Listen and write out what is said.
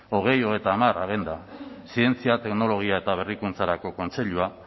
bi mila hogeita hamar agenda zientzia teknologia eta berrikuntzarako kontseilua